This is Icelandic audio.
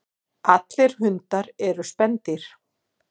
Allir hundar eru spendýr.